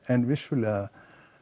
en vissulega